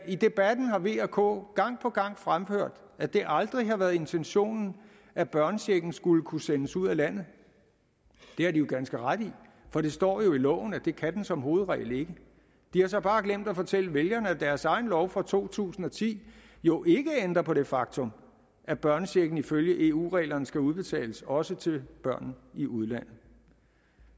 i debatten har v og k gang på gang fremført at det aldrig har været intentionen at børnechecken skulle kunne sendes ud af landet det har de jo ganske ret i for det står i loven at det kan den som hovedregel ikke de har så bare glemt at fortælle vælgerne at deres egen lov fra to tusind og ti jo ikke ændrer på det faktum at børnechecken ifølge eu reglerne skal udbetales også til børn i udlandet